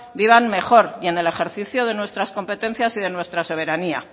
vivan mejor y en el ejercicio de nuestras competencias y nuestras soberanía